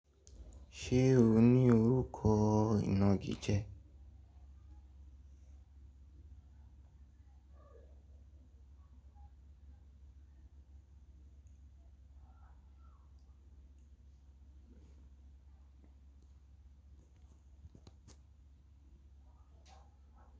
Ṣé ò ní orúkọ ìnagijẹ.